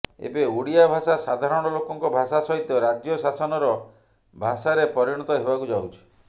ଏବେ ଓଡ଼ିଆ ଭାଷା ସାଧାରଣ ଲୋକଙ୍କ ଭାଷା ସହିତ ରାଜ୍ୟ ଶାସନର ଭାଷାରେ ପରିଣତ ହେବାକୁ ଯାଉଛି